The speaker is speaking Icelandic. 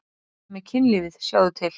Þetta með kynlífið, sjáðu til.